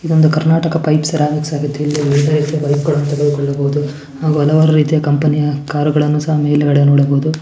ಇದೊಂದು Karnataka Pipes Ceramics ಆಗಿದೆ ಇಲ್ಲಿ ಎಲ್ಲ ರೀತಿಯ ಪೈಪ್ಗಳನ್ನೂ ತೆಗೆದುಕೊಳ್ಳಬಹುದು ಹಾಗು ಹಲವಾರು ರೀತಿಯ ಕಂಪನಿಯ ಕಾರ್ ಗಳನ್ನೂ ಸಹ ಮೇಲ್ಗಡೆ ನೋಡಬಹುದು --